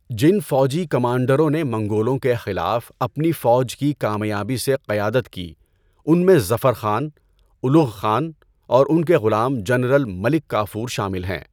جن فوجی کمانڈروں نے منگولوں کے خلاف اپنی فوج کی کامیابی سے قیادت کی ان میں ظفر خان، اُلُغ خان اور ان کے غلام جنرل ملک کافور شامل ہیں۔